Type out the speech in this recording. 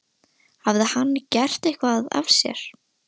Hafði hann gert eitthvað af sér?